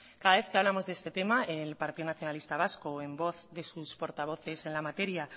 cada vez que hablamos de este tema el partido nacionalista vasco en voz de sus portavoces en la materia